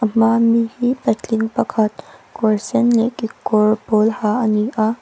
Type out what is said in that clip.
a hmaa mi hi patling pakhat kawr sen leh kekawr pawl ha a ni a.